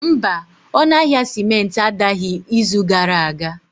Mba, ọnụ ahịa simenti adaghị izu gara aga